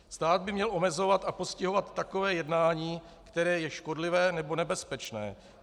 Stát by měl omezovat a postihovat takové jednání, které je škodlivé nebo nebezpečné.